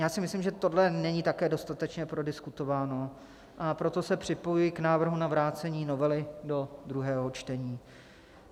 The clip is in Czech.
Já si myslím, že tohle není také dostatečně prodiskutováno, a proto se připojuji k návrhu na vrácení novely do druhého čtení.